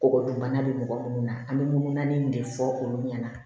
Kɔgɔ dun bana be mɔgɔ munnu na an be mun naani de fɔ olu ɲɛna